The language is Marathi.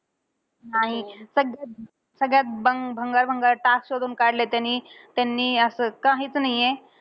नाही. सगळ्यात सगळ्यात भं भंगार भंगार task शोधून काढले त्यांनी. त्यांनी असं अं काहीच नाहीये.